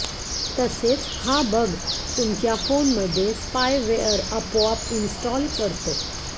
तसेच हा बग तुमच्या फोनमध्ये स्पायवेअर आपोआप इंस्टॉल करतो